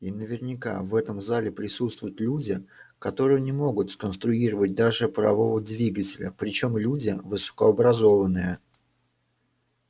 и наверняка в этом зале присутствуют люди которые не могут сконструировать даже парового двигателя причём люди высокообразованные